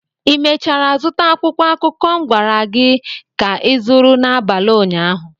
i mechara zụta akwụkwọ akụkọ m gwara gị ka ịzụrụ n'abalị ụnyaahụ?